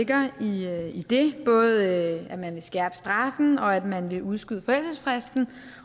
der ligger i det både at man vil skærpe straffen og at man vil udskyde forældelsesfristen